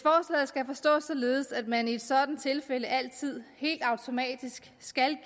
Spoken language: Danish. skal forstås således at man i sådanne tilfælde altid helt automatisk skal